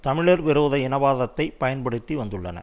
தமிழர் விரோத இனவாதத்ததை பயன்படுத்தி வந்துள்ளன